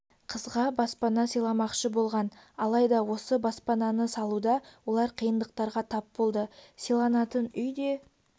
қызға баспана сыйламақшы болған алайда осы баспананы салуда олар қиындықтарға тап болды сыйланатын үй де